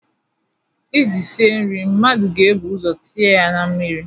iji sie nri mmadụ ga-ebu ụzọ tinye ya na mmiri